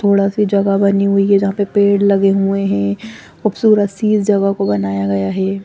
थोडा सा जगह बनी हुई है जहां पे पेड़ लगे है खुबसुरत सी इस जगह को बनाया गया है ।